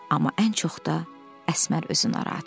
Amma ən çox da Əsmər özü narahat idi.